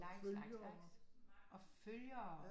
Likes likes likes og følgere